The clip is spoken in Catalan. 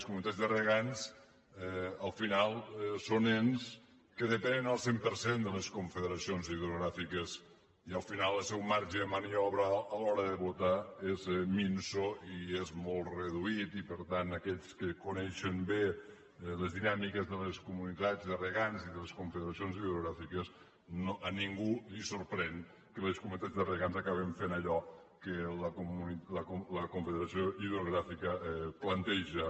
les comunitats de regants al final són ens que depenen al cent per cent de les confederacions hidrogràfiques i al final el seu marge de maniobra a l’hora de votar és minso i és molt reduït i per tant aquells que coneixen bé les dinàmiques de les comunitats de regants i de les confederacions hidrogràfiques a ningú li sorprèn que les comunitats de regants acabin fent allò que la confederació hidrogràfica planteja